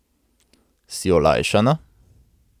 Si olajšana?